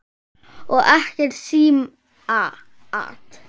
Og ekkert símaat.